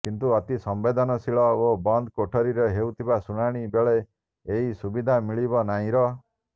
କିନ୍ତୁ ଅତି ସମ୍ବେଦନଶୀଳ ଓ ବନ୍ଦ କୋଠରୀରେ ହେଉଥିବା ଶୁଣାଣି ବେଳେ ଏହି ସୁବିଧା ମିଳିବ ନାହଁର